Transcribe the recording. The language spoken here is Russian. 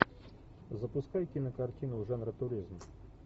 запускай кинокартину жанра туризм